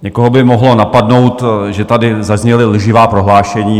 Někoho by mohlo napadnout, že tady zazněla lživá prohlášení.